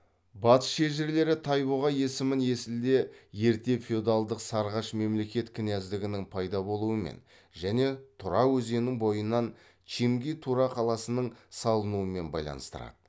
батыс шежірелері тайбұға есімін есілде ерте феодалдық сарғаш мемлекет княздігінің пайда болуымен және тура өзенінің бойынан чинги тура қаласының салынуымен байланыстырады